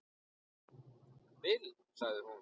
Bill, sagði hún.